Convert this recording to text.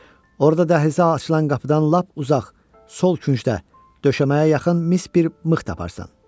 Orada dəhlizə açılan qapıdan lap uzaq sol küncdə döşəməyə yaxın mis bir mıx taparsan.